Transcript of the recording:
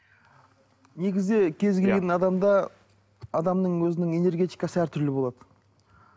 негізі кез келген адамда адамның өзінің энергетикасы әртүрлі болады